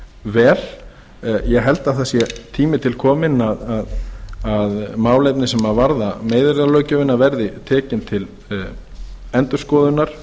vel ég held að það sé tími til kominn að málefni sem varða meiðyrðalöggjöfina verði tekin til endurskoðunar